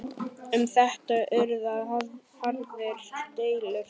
Um þetta urðu harðar deilur.